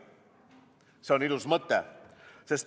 See on ilus mõte!